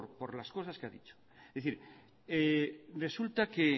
por las cosas que ha dicho es decir resulta que